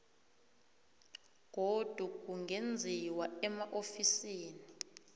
godu kungenziwa emaofisini